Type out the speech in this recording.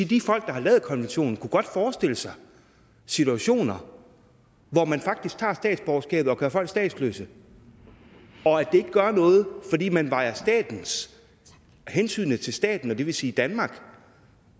de folk der har lavet konventionen godt kunne forestille sig situationer hvor man faktisk tager statsborgerskabet og gør folk statsløse og at det ikke gør noget fordi man vejer hensynet til staten det vil sige danmark